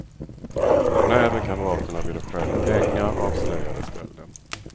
När även kamraterna ville stjäla pengar avslöjades stölden.